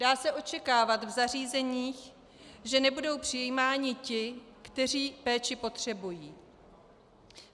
Dá se očekávat v zařízeních, že nebudou přijímáni ti, kteří péči potřebují.